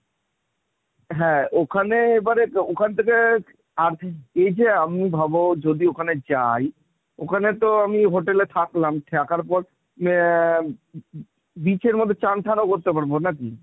হ্যাঁ ওখানে এবারে ওখান থেকে এই যে আমি ভাবো যদি ওখানে যাই ওখানে তো আমি hotel এ থাকলাম থাকার পর অ্যা beach এর মধ্যে চান টানও করতে পারব নাকি?